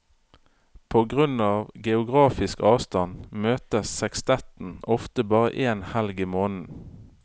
På grunn av geografisk avstand møtes sekstetten ofte bare én helg i måneden.